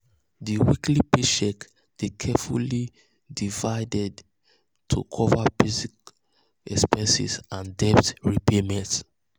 di weekly paycheck dey carefully divided to cover basic cover basic expenses and debt repayment.